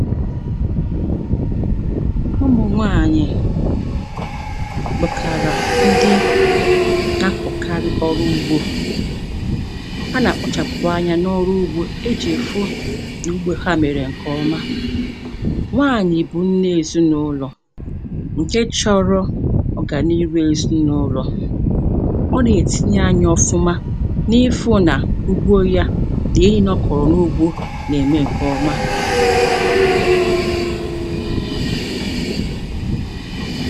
Ụmụ nwaànyị̀ [paues]bụkàrà ndị na-akọ̀karị ọrụ ugbȯ, ha nà-àkpọchàpụ̀ anyȧ n’ọrụ ugbȯ ijì hụ n’ugbȯ ha mèrè ǹkè ọma. nwaànyị̀ bụ nne èzinụlọ̀ ǹke chọrọ ọrụ ọ gà n’iru èzinụlọ̀ ọ nà-ètinye anyȧ ọfụma n’ihu nà ugbo ya nà ihe niile ọkọ̀rọ̀ n’ugbo nà-ème ǹkè ọma